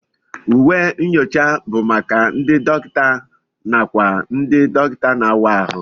Uwe ụlọ nyocha bụ maka ndị dọkịta nàkwà ndị dọkịta na-àwá áhụ